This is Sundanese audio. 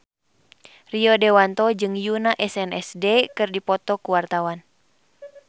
Rio Dewanto jeung Yoona SNSD keur dipoto ku wartawan